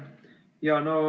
Aitäh!